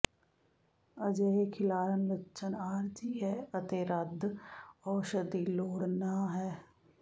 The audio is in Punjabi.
ਅਜਿਹੇ ਖਿਲਾਰਨ ਲੱਛਣ ਆਰਜ਼ੀ ਹੈ ਅਤੇ ਰੱਦ ਔਸ਼ਧ ਦੀ ਲੋੜ ਨਹ ਹੈ